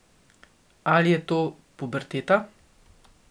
Ali je to puberteta?